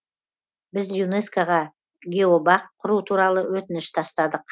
біз юнеско ға геобақ құру туралы өтініш тастадық